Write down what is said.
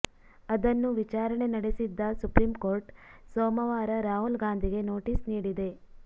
ಅದನ್ನು ವಿಚಾರಣೆ ನಡೆಸಿದ್ದ ಸುಪ್ರೀಂಕೋರ್ಟ್ ಸೋಮವಾರ ರಾಹುಲ್ ಗಾಂಧಿಗೆ ನೋಟಿಸ್ ನೀಡಿದೆ